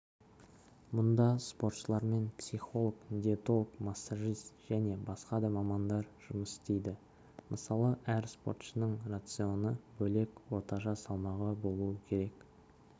мұнда спортшылармен психолог диетолог массажист және басқа да мамандар жұмыс істейді мысалы әр спортшының рационы бөлек орташа салмағы болуы керек